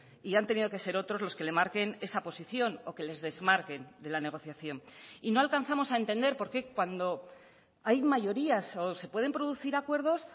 y han tenido que ser otros los que le marquen esa posición o que les desmarquen de la negociación y no alcanzamos a entender por qué cuando hay mayorías o se pueden producir acuerdos